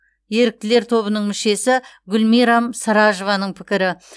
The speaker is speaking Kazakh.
еріктілер тобының мүшесі гүлмирам сражованың пікірі